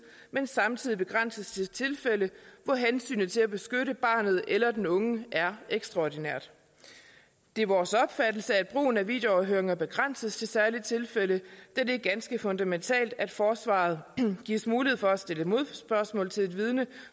men samtidig begrænses til tilfælde hvor hensynet til at beskytte barnet eller den unge er ekstraordinært det er vores opfattelse at brugen af videoafhøringer begrænses til særlige tilfælde da det er ganske fundamentalt at forsvaret gives mulighed for at stille modspørgsmål til et vidne